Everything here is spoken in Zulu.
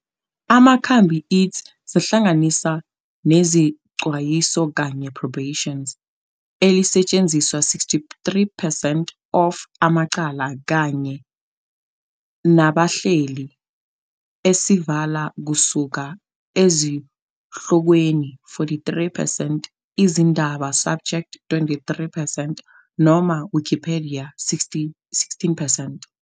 Amakhambi Its zihlanganisa nezixwayiso kanye probations elisetshenziswa 63 percent of amacala kanye nabahleli esivala kusuka ezihlokweni 43 percent, izindaba subject 23 percent noma Wikipedia 16 percent.